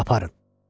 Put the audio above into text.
Aparın!